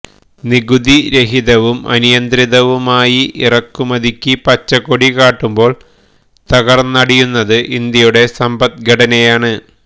നികുതി രഹിതവും അനിയന്ത്രിതവുമായി ഇറക്കുമതിക്ക് പച്ചക്കൊടി കാട്ടുമ്പോള് തകര്ന്നടിയുന്നത് ഇന്ത്യയുടെ സമ്പദ്ഘടനയാണ്